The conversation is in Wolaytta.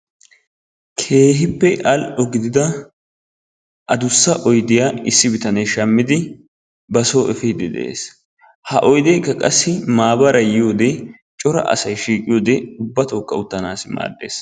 Keehippe al''o gidida adussa oydiya issi bitanee shammidi ba soo efiidde de'es. ha oydeekka qassi maabaray yiyoode cora asay shiqiyiyoode ubbatookka uttanaassi maaddees